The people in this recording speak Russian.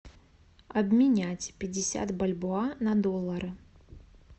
обменять пятьдесят бальбоа на доллары